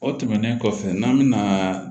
O tɛmɛnen kɔfɛ n'an bɛna